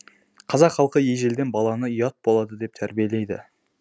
қазақ халқы ежелден баланы ұят болады деп тәрбиелейді